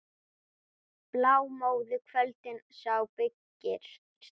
Blámóðu kvöldið á byggðir slær.